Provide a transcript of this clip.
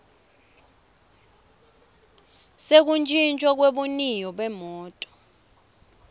sekutjintjwa kwebuniyo bemoti